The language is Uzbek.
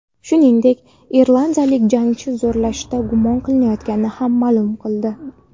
Shuningdek, irlandiyalik jangchi zo‘rlashda gumon qilinayotgani ham ma’lum bo‘ldi .